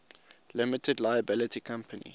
limited liability company